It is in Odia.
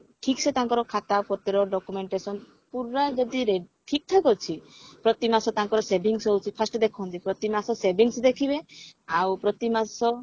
ଠିକସେ ତାଙ୍କର ଖାତା ପତ୍ର documentation ପୁରା ଯଦି ଠିକ ଠାକ ଅଛି ପ୍ରତିମାସ ତାଙ୍କର savings ହଉଛି first ଦେଖନ୍ତି ପ୍ରତିମାସ savings ଦେଖିବେ ଆଉ ପ୍ରତିମାସ